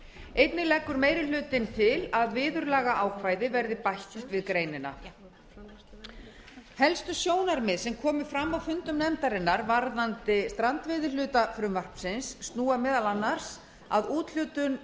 einnig leggur meiri hlutinn til að viðurlagaákvæði verði bætt við greinina helstu sjónarmið sem komu fram á fundum nefndarinnar varðandi strandveiðihluta frumvarpsins snúa meðal annars að úthlutun